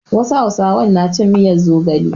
Wasu hausawan na cin miyar zogale.